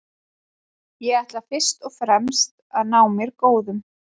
Ég ætla fyrst og fremst að ná mér góðum.